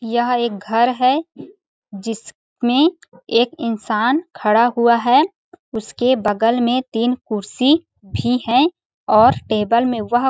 यह एक घर है जिसमें एक इंसान खड़ा हुआ है उसके बगल में तीन कुर्सी भी है और टेबल में वह--